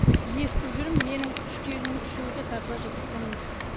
естіп жүрмін менің үш келінім үшеуі де татуаж жасатқан емес